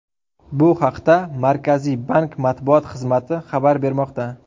Bu haqda Markaziy bank matbuot xizmati xabar bermoqda .